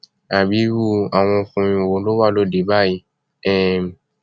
abirù àwọn ọkùnrin wo ló wà lóde báyìí um